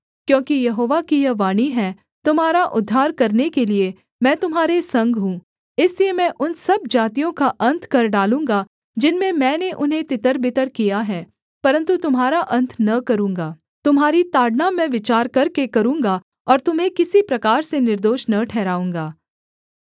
क्योंकि यहोवा की यह वाणी है तुम्हारा उद्धार करने के लिये मैं तुम्हारे संग हूँ इसलिए मैं उन सब जातियों का अन्त कर डालूँगा जिनमें मैंने उन्हें तितरबितर किया है परन्तु तुम्हारा अन्त न करूँगा तुम्हारी ताड़ना मैं विचार करके करूँगा और तुम्हें किसी प्रकार से निर्दोष न ठहराऊँगा